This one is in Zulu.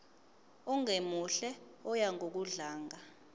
ongemuhle oya ngokudlanga